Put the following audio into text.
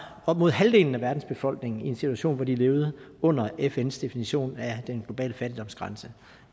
op mod halvdelen af verdens befolkning i en situation hvor de levede under fns definition af den globale fattigdomsgrænse